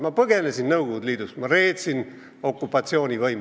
Ma põgenesin Nõukogude Liidust, ma reetsin okupatsioonivõimu.